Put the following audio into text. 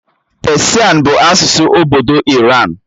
Pesian bụ asụsụ obodo Iran.